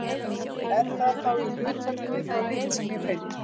Er það þá í hlutfalli við þá lykt sem ég finn?